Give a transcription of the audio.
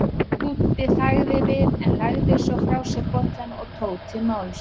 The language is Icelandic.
Dúddi þagði við en lagði svo frá sér bollann og tók til máls